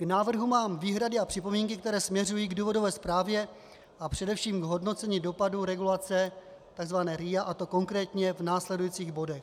K návrhu mám výhrady a připomínky, které směřují k důvodové zprávě a především k hodnocení dopadů regulace, tzv. RIA, a to konkrétně v následujících bodech: